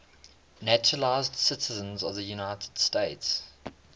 naturalized citizens of the united states